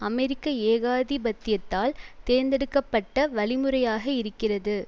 அமெரிக்க ஏகாதிபத்தியத்தால் தேர்ந்தெடுக்க பட்ட வழிமுறையாக இருக்கிறது